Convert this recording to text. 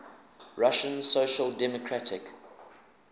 russian social democratic